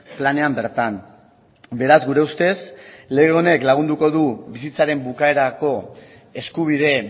planean bertan beraz gure ustez lege honek lagunduko du bizitzaren bukaerako eskubide